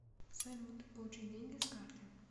салют получить деньги с карты